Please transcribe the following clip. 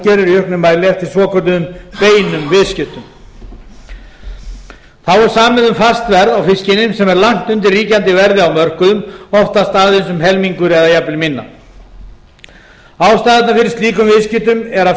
í auknum mæli eftir svokölluðum beinum viðskiptum þá er samið um fast verð á fiskinum sem er langt undir ríkjandi verði á mörkuðum oftast aðeins um helmingur eða jafnvel minna ástæðurnar fyrir slíkum viðskiptum er að